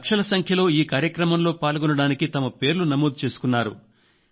లక్షల సంఖ్యలో ఈ కార్యక్రమంలో పాల్గొనడానికి తమ పేర్లు నమోదు చేసుకున్నారు